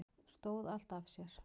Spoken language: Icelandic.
Stóð allt af sér